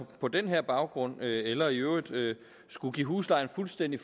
på den her baggrund eller i øvrigt skulle give huslejen fuldstændig